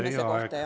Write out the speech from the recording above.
Teie aeg!